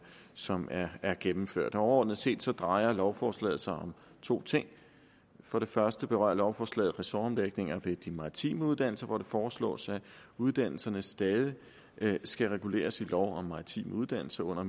som er er gennemført overordnet set drejer lovforslaget sig om to ting for det første berører lovforslaget ressortomlægninger ved de maritime uddannelser hvor det foreslås at uddannelserne stadig skal reguleres i lov om maritime uddannelser under